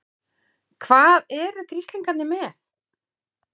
HVAÐ ERU GRISLINGARNIR MEÐ?